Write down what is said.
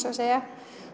segja